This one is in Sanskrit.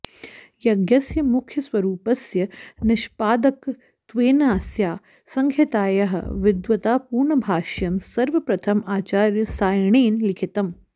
यज्ञस्य मुख्यस्वरूपस्य निष्पादकत्वेनास्याः संहितायाः विद्वत्तापूर्णभाष्यं सर्वप्रथम् आचार्यसायणेन लिखितम्